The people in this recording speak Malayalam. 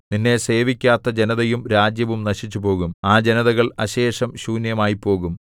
നിന്നെ സേവിക്കാത്ത ജനതയും രാജ്യവും നശിച്ചുപോകും ആ ജനതകൾ അശേഷം ശൂന്യമായിപ്പോകും